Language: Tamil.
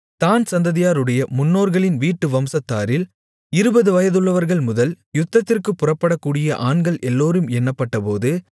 தாண் சந்ததியாருடைய முன்னோர்களின் வீட்டு வம்சத்தாரில் இருபது வயதுள்ளவர்கள்முதல் யுத்தத்திற்குப் புறப்படக்கூடிய ஆண்கள் எல்லோரும் எண்ணப்பட்டபோது